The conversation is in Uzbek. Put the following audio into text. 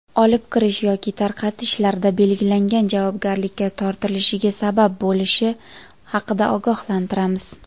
olib kirish yoki tarqatish)larida belgilangan javobgarlikka tortilishiga sabab bo‘lishi haqida ogohlantiramiz.